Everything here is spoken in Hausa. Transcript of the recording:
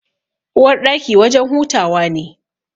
Uwarɗaki wajen hutawa ne.